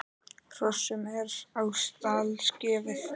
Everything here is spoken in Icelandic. Hrossum er á stall gefið.